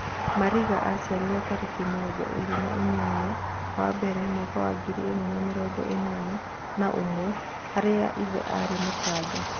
Marĩnga aciarirwo tarĩki mĩrongo ĩrĩ na inyanya wa mbere mwaka wa ngiri ĩmwe na mĩrongo-ĩnana na ũmwe harĩa ithe arĩ Mũtanga.